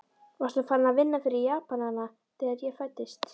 Varstu farinn að vinna fyrir Japanana, þegar ég fæddist?